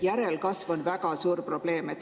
Järelkasv on väga suur probleem.